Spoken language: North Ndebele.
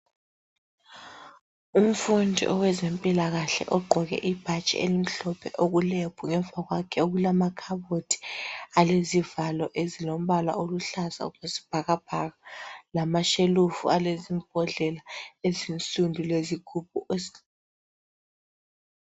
Umfundi owezempilakahle ogqoke ibhatshi elimhlophe okulebhu ngemva kwakhe okulamakhabothi alezivalo ezilombala oluhlaza okwesibhakabhaka lamashelufu alezimbodlela ezinsundu lezigubhu